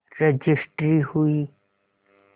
registry हुई